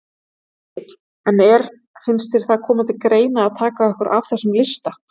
Egill: En er, finnst þér það koma til greina að taka okkur af þessum lista?